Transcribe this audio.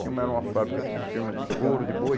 Silma era uma fábrica firma de couro de boi.